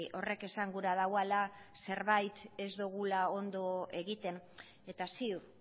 horrek esan gura duela zerbait ez dugula ondo egiten eta ziur